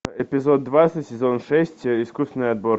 эпизод двадцать сезон шесть искусственный отбор